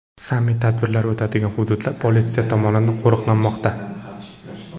Sammit tadbirlari o‘tadigan hududlar politsiya tomonidan qo‘riqlanmoqda.